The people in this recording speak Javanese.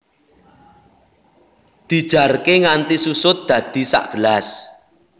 Dijarké nganti susut dadi sagelas